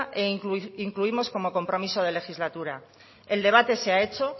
e incluimos como compromiso de legislatura el debate se ha hecho